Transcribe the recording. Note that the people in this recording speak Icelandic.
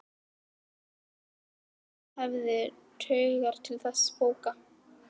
Frekar að mamma hans hefði taugar til þessara bóka.